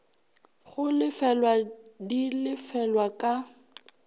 go lefelwa di lefelwa ka